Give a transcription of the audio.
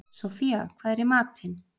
Sophia, hvað er í matinn?